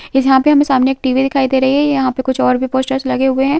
यहाँ पे हमें सामने एक टीवी दिखाई दे रही है यहाँ पर कुछ और भी पोस्टर लगे हुए हैं।